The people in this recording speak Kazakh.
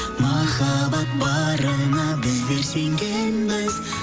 махаббат барына біздер сенгенбіз